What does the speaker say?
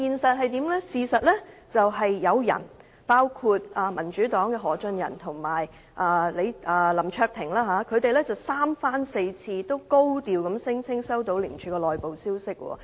事實是有人，包括民主黨的何俊仁和林卓廷議員三番四次高調聲稱接獲廉署的內部消息。